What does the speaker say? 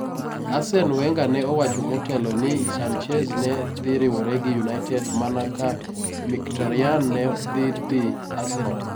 Arsene Wenger ne owacho motelo ni Sanchez ne dhi riwore gi United mana ka Mkhitaryan ne dhi dhi Arsenal.